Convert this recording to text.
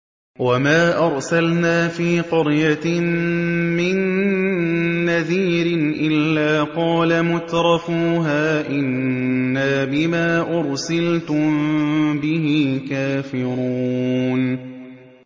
وَمَا أَرْسَلْنَا فِي قَرْيَةٍ مِّن نَّذِيرٍ إِلَّا قَالَ مُتْرَفُوهَا إِنَّا بِمَا أُرْسِلْتُم بِهِ كَافِرُونَ